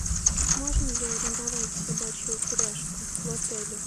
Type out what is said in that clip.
можно ли арендовать собачью упряжку в отеле